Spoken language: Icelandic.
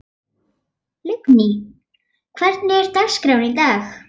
Lingný, hvernig er dagskráin í dag?